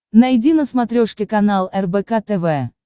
найди на смотрешке канал рбк тв